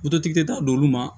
t'a d'olu ma